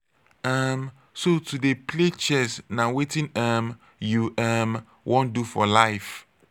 um so to dey play chess na wetin um you um wan do for life.